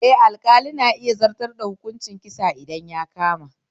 Eh, alƙali na iya zartar da hukuncin kisa idan ta kama